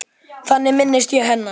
Þannig minnist ég hennar.